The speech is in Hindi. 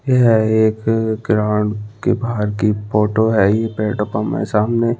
यह एक ग्राउंड के बाहर की फोटो है ये पेड़ पम है सामने--